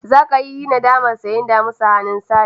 Zaka yi nadamar sayen damisa daga hannun Sale.